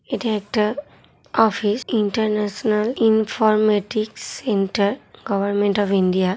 এটা একটা office international informatic centre government of India.